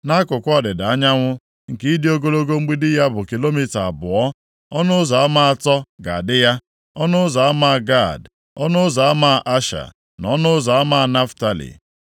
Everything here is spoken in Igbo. Nʼakụkụ ọdịda anyanwụ nke ịdị ogologo mgbidi ya bụ kilomita abụọ, ọnụ ụzọ ama atọ ga-adị ya: ọnụ ụzọ ama Gad, ọnụ ụzọ ama Asha, na ọnụ ụzọ ama Naftalị.